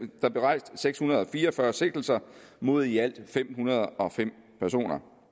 der blev rejst seks hundrede og fire og fyrre sigtelser mod i alt fem hundrede og fem personer